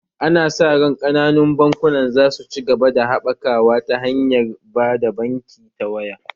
Ana sa ran kananun bankunan za su ci gaba da haɓakawa ta hanyar ba da banki ta waya